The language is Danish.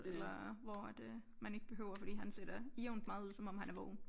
Eller hvor at øh man ikke behøver fordi han ser da jævnt meget ud som om han er vågen